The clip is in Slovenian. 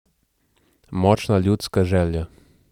Močna ljudska želja.